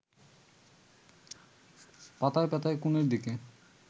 পাতায় পাতায় কোণের দিকে